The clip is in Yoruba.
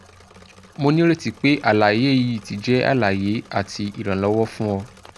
mo nireti pe alaye yii ti jẹ alaye ati iranlọwọ fun ọ